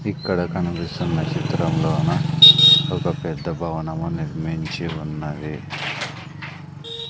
ఇక్కడ కనిపిస్తున్న చిత్రంలోని ఒక పెద్ద భవనం నిర్మించి ఉన్నది.